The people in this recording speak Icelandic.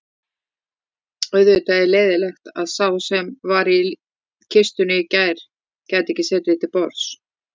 Auðvitað leiðinlegt að sá sem var í kistunni gæti ekki setið til borðs